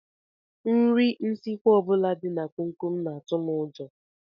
Nri nsikwa ọ bụla dị na komkom na-atụ m ụjọ